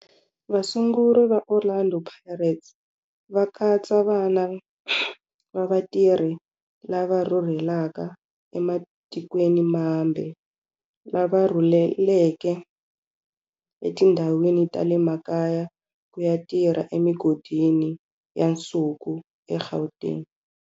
Vasunguri va Orlando Pirates va katsa vana va vatirhi lava rhurhelaka ematikweni mambe lava rhurheleke etindhawini ta le makaya ku ya tirha emigodini ya nsuku eGauteng.